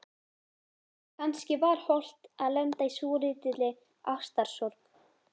Kannski var hollt að lenda í svolítilli ástarsorg.